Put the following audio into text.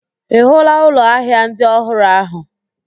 Ị hụụla ụlọ ahịa ndị ọhụrụ ahụ?